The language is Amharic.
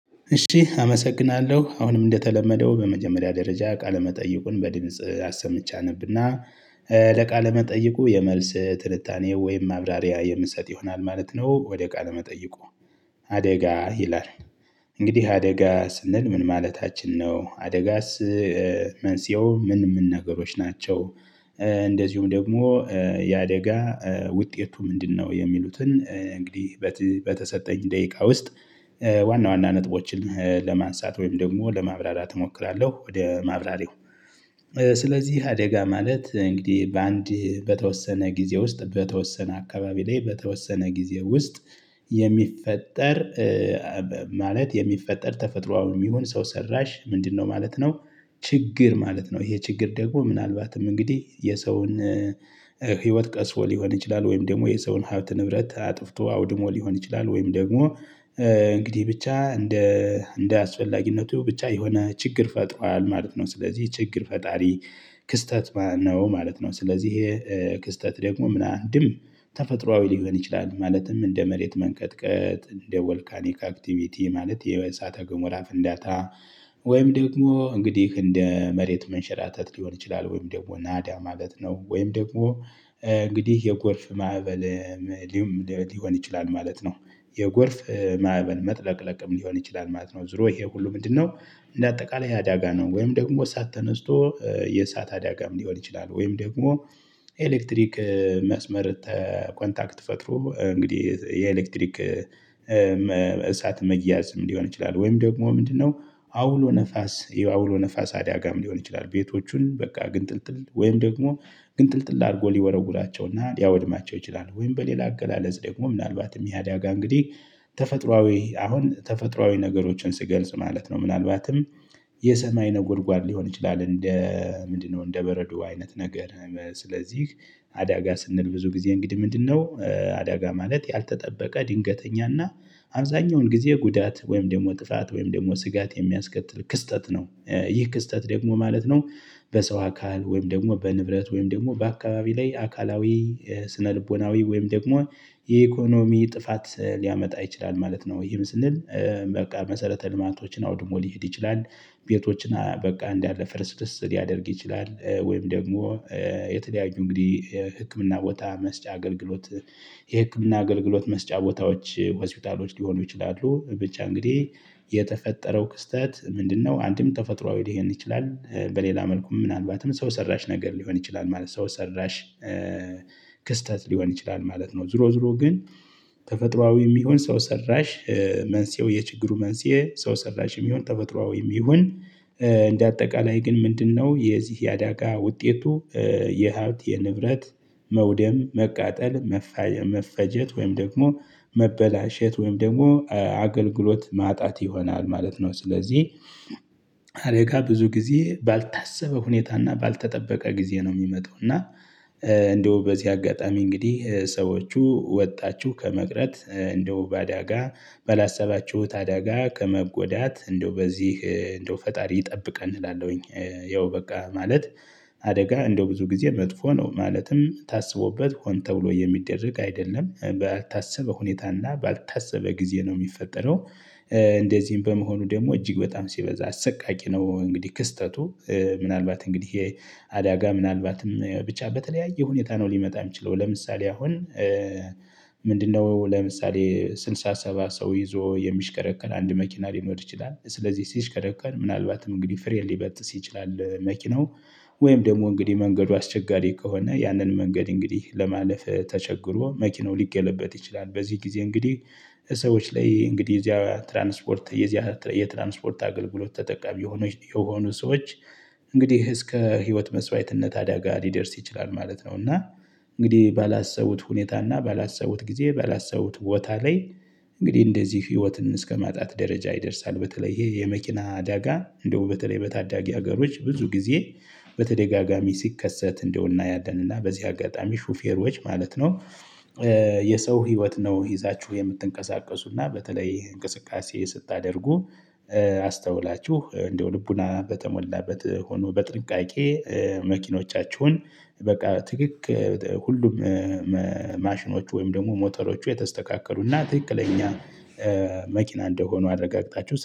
እሺ አመሰግናለሁ አሁንም እንደተለመደው በመጀመሪያ ደረጃ ቃለ መጠይቁን በድምጽ አሰምቼ አነብና ለቃለ መጠይቁ የመልስ ትንታኔ ወይም ማብራሪያ የምትሰጥ ይሆናል ማለት ነው። ወደ ቃለ መጠይቁ አደጋ ይላል እንግዲህ አደጋ ስንል ምን ማለታችን ነው? አደጋስ መንሴው ምን ምን ነገሮች ናቸው? እንደዚሁም ደግሞ የአደጋ ውጤቱ ምንድነው? የሚሉትን እንግዲህ በተሰጠኝ ደቂቃ ውስጥ ዋና ዋና ነጥቦችን ለማንሳት ወይም ደግሞ ለማብራራት እሞክራለሁ። ወደ ማብራሪያው ስለዚህ አደጋ ማለት እንግዲህ በአንድ በተወሰነ ጊዜ ውስጥ በተወሰነ አካባቢ ላይ በተወሰነ ጊዜ ውስጥ የሚፈጠር ማለት የሚፈጠር ተፈጥሮአዊም ይሁን ሰው ሰራሽ ምንድነው ማለት ነው። ችግር ማለት ነው ይሄ ችግር ደግሞ ምናልባትም እንግዲህ የሰውን ህይወት ቀጥፎ ሊሆን ይችላል። ወይም ደግሞ የሰውን ሀብት ንብረት አጥፍቶ አውድሞ ሊሆን ይችላል። ወይም ደግሞ እንግዲህ ብቻ እንደ እንደ አስፈላጊነቱ ብቻ የሆነ ችግር ፈጥሯል ማለት ነው። ስለዚህ ችግር ፈጣሪ ክስተት ነው ማለት ነው። ስለዚህ ይሄ ክስተት ደግሞም አንድም ተፈጥሮአዊ ሊሆን ይችላል ማለትም እንደ መሬት መንቀጥቀጥ እንደ ቮልካኒክ አክቲቪቲ ማለት የእሳተ ጎመራ ፍንዳታ ወይም ደግሞ እንግዲህ እንደ መሬት መንሸራተት ሊሆን ይችላል። ወይም ደግሞ ናዳ ማለት ነው። ወይም ደግሞ እንግዲህ የጎርፍ ማዕበል ሊሆን ይችላል ማለት ነው። የጎርፍ ማዕበል መጥለቅለቅም ሊሆን ይችላል ማለት ነው። ዙሮ ይሄ ሁሉ ምንድነው? እንደ አጠቃላይ ያዳጋ ነው። ወይም ደግሞ እሳት ተነስቶ የእሳት አዳጋም ሊሆን ይችላል። ወይም ደግሞ የኤሌክትሪክ መስመር ኮንታክት ፈጥሮ እንግዲህ የኤሌክትሪክ እሳት መያዝም ሊሆን ይችላል። ወይም ደግሞ ምንድነው አውሎ ነፋስ አውሎ ነፋስ አዳጋም ሊሆን ይችላል። ቤቶቹን በቃ ግንጥልጥል ወይም ደግሞ ግንጥልጥል አድርጎ ሊወረውራቸውና ሊያወድማቸው ይችላል። ወይም በሌላ አገላለጽ ደግሞ ምናልባትም ይህ ያዳጋ እንግዲህ ተፈጥሮአዊ አሁን ተፈጥሮአዊ ነገሮችን ስገልጽ ማለት ነው። ምናልባትም የሰማይ ነጎድጓድ ሊሆን ይችላል እንደ ምንድነው እንደ በረዶ አይነት ነገር። ስለዚህ አዳጋ ስንል ብዙ ጊዜ እንግዲህ ምንድነው አዳጋ ማለት ያልተጠበቀ ድንገተኛና አብዛኛውን ጊዜ ጉዳት ወይም ደግሞ ጥፋት ወይም ደግሞ ስጋት የሚያስከትል ክስተት ነው። ይህ ክስተት ደግሞ ማለት ነው። በሰው አካል ወይም ደግሞ በንብረት ወይም ደግሞ በአካባቢ ላይ አካላዊ ስነልቦናዊ ወይም ደግሞ የኢኮኖሚ ጥፋት ሊያመጣ ይችላል ማለት ነው። ይህም ስንል በቃ መሰረተ ልማቶችን አውድሞ ሊሄድ ይችላል። ቤቶችን በቃ እንዳለ ፍርስርስ ሊያደርግ ይችላል። ወይም ደግሞ የተለያዩ እንግዲህ ህክምና ቦታ መስጫ አገልግሎት የህክምና አገልግሎት መስጫ ቦታዎች ሆስፒታሎች ሊሆኑ ይችላሉ። ብቻ እንግዲህ የተፈጠረው ክስተት ምንድነው አንድም ተፈጥሮአዊ ሊሆን ይችላል በሌላ መልኩ ምናልባትም ሰው ሰራሽ ነገር ሊሆን ይችላል ማለት ነው። ሰው ሰራሽ ክስተት ሊሆን ይችላል ማለት ነው። ዝሮ ዝሮ ግን ተፈጥሮአዊም ይሁንን ሰው ሰራሽ መንስኤው የችግሩ መንስኤ ሰው ሰራሽም ይሁን ተበጥሮአዊም ይሁን እንደ አጠቃላይ ግን ምንድነው የዚህ የአዳጋ ውጤቱ? የሀብት የንብረት መውደም መቃጠል መፈጀት ወይም ደግሞ መበላሸት ወይም ደግሞ አገልግሎት ማጣት ይሆናል ማለት ነው። ስለዚህ አደጋ ብዙ ጊዜ ባልታሰበ ሁኔታና ባልተጠበቀ ጊዜ ነው የሚመጣው። እና እንደው በዚህ አጋጣሚ እንግዲህ ሰዎቹ ወጣችሁ ከመቅረት እንደው በአዳጋ ባላሰባችሁት አዳጋ ከመጎዳት እንደው በዚህ እንደው ፈጣሪ ይጠብቀን እላለሁኝ ያው በቃ ማለት አደጋ እንደው ብዙ ጊዜ መጥፎ ነው ማለትም ታስቦበት ሆን ተብሎ የሚደረግ አይደለም ባልታሰበ ሁኔታና ባልታሰበ ጊዜ ነው የሚፈጠረው። እንደዚህም በመሆኑ ደግሞ እጅግ በጣም ሲበዛ አሰቃቂ ነው። እንግዲህ ክስተቱ ምናልባት እንግዲህ ይሄ አዳጋ ምናልባትም ብቻ በተለያየ ሁኔታ ነው ሊመጣ የሚችለው። ለምሳሌ አሁን ምንድነው ለምሳሌ ስልሳ ሰባ ሰው ይዞ የሚሽከረከር አንድ መኪና ሊኖር ይችላል። ስለዚህ ሲሽከረከር ምናልባትም እንግዲህ ፍሬን ሊበጥስ ይችላል። መኪናው ወይም ደግሞ እንግዲህ መንገዱ አስቸጋሪ ከሆነ ያንን መንገድ እንግዲህ ለማለፍ ተቸግሮ መኪናው ሊገለበጥ ይችላል። በዚህ ጊዜ እንግዲህ ሰዎች ላይ እንግዲህ እዚያ ትራንስፖርት እዚያ የትራንስፖርት አገልግሎት ተጠቃሚ የሆኑ የሆኑ ሰዎች እንግዲህ እስከ ህይወት መስዋዕትነት አደጋ ሊደርስ ይችላል ማለት ነው። እና እንግዲህ ባላሰቡት ሁኔታ እና ባላሰቡት ጊዜ ባላሰቡት ቦታ ላይ እንግዲህ እንደዚህ ህይወትን እስከማጣት ደረጃ ይደርሳል። በተለይ ይሄ የመኪና አዳጋ እንደው በተለይ በታዳጊ ሀገሮች ብዙ ጊዜ በተደጋጋሚ ሲከሰት እንደው እናያለን። እና በዚህ አጋጣሚ ሹፌሮች ማለት ነው። የሰው ህይወት ነው ይዛችሁ የምትንቀሳቀሱና በተለይ እንቅስቃሴ ስታደርጉ አስተውላችሁ እንደው ልቦና በተሞላበት ሆኖ በጥንቃቄ መኪኖቻችሁን በቃ ትክክ ሁሉም ማሽኖች ወይም ደግሞ ሞተሮቹ የተስተካከሉ እና ትክክለኛ መኪና እንደሆኑ አረጋግጣችሁ